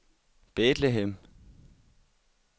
Bethlehem